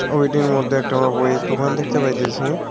ছবিটির মধ্যে একটি আমরা বইয়ের দোকান দেখতে পাইতেসি।